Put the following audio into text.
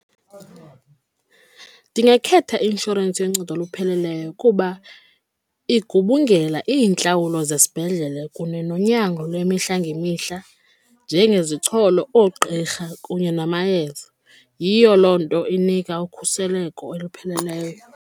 Ndingakhetha inshorensi yoncedo olupheleleyo kuba igubungela iintlawulo zesibhedlele kunye nonyango lwemihla ngemihla njengezicholo, oogqirha kunye namayeza. Yiyo loo nto inika ukhuseleko olupheleleyo.